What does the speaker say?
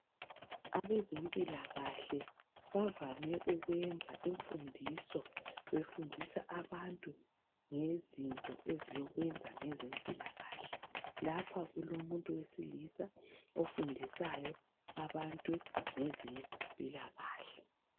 abezempilakahle bavame ukwenza imfundiso befundisa abantu ngezinto ezilokwenza ngezempilakahle lapha kulo muntu wesilisa ofundisayo abantu ngezempilakahle